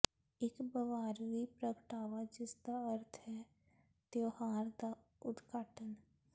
ਇੱਕ ਬਵਾਰਵੀ ਪ੍ਰਗਟਾਵਾ ਜਿਸਦਾ ਅਰਥ ਹੈ ਤਿਉਹਾਰ ਦਾ ਉਦਘਾਟਨ